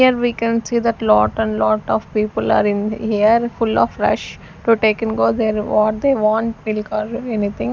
Here we can see that lot and lot of people are in here full of rush to take and go their what they want milk or anything.